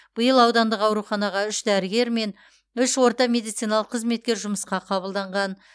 биыл аудандық ауруханаға үш дәрігер мен үш орта медициналық қызметкер жұмысқа қабылданған